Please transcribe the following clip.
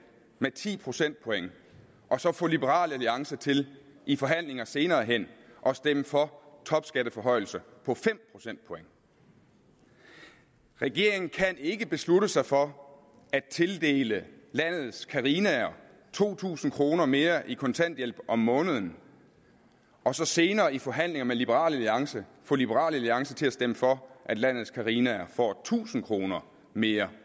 med ti procentpoint og så få liberal alliance til i forhandlinger senere hen at stemme for topskatteforhøjelser på fem procentpoint regeringen kan ikke beslutte sig for at tildele landets carinaer to tusind kroner mere i kontanthjælp om måneden og så senere i forhandlinger med liberal alliance få liberal alliance til at stemme for at landets carinaer får tusind kroner mere